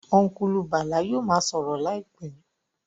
Ọ́nkùlù Bàlá yóò ma sọ̀rọ̀ láìpẹ́